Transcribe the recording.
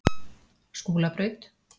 Skúlabraut